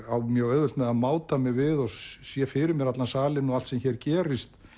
á mjög auðvelt með að máta mig við og sé fyrir mér allan salinn og allt sem hér gerist